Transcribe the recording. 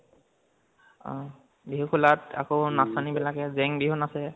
অ, বিহু খোলত, আকৌ নচনি বিলাকে জেং বিহু নাচে।